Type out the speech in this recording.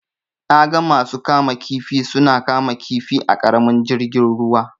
Na ga masu kama kifi na kama kifi a ƙaramin jirgin ruwa.